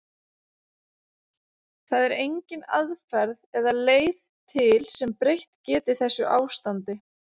Það er engin aðferð eða leið til sem breytt geti þessu ástandi.